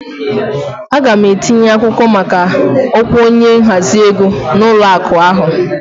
Aga m etinye akwụkwọ maka ọkwa onye nhazi ego na ụlọ akụ ahụ